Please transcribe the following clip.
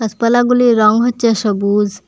গাসপালাগুলির রং হচ্ছে সবুজ।